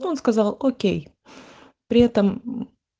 он сказал окей при этом